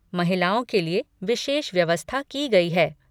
महिलाओं के लिए विशेष व्यवस्था की गई है।